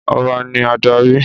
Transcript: Ọba ni adarí!